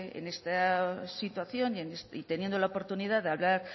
en esta situación y teniendo la oportunidad de hablar